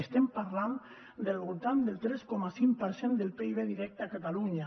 estem parlant del voltant del tres coma cinc per cent del pib directe a catalunya